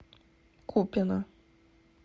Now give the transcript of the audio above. купино